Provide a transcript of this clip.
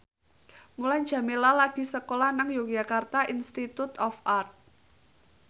Mulan Jameela lagi sekolah nang Yogyakarta Institute of Art